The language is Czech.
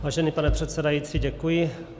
Vážený pane předsedající, děkuji.